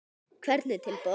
Hvernig tilboð?